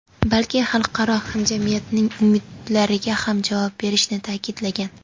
balki xalqaro hamjamiyatning umidlariga ham javob berishini ta’kidlagan.